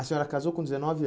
A senhora casou com dezenove